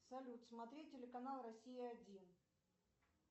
салют смотреть телеканал россия один